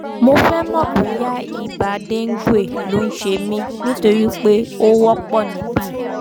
mo fẹ́ mọ̀ bóyá ibà dengue ló ń ṣe mí nítorí pé ó wọ́pọ̀ níbí